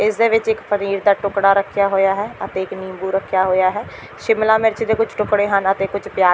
ਇਸ ਦੇ ਵਿੱਚ ਇੱਕ ਪਨੀਰ ਦਾ ਟੁਕੜਾ ਰੱਖਿਆ ਹੋਇਆ ਹੈ ਅਤੇ ਇੱਕ ਨਿੰਬੂ ਰੱਖਿਆ ਹੋਇਆ ਹੈ ਸ਼ਿਮਲਾ ਮਿਰਚ ਦੇ ਕੁਝ ਟੁਕੜੇ ਹਨ ਅਤੇ ਕੁਝ ਪਿਆਜ--